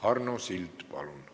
Arno Sild, palun!